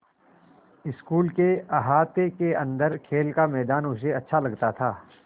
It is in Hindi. स्कूल के अहाते के अन्दर खेल का मैदान उसे अच्छा लगता था